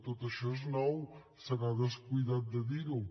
tot això és nou se n’ha descuidat de dir ho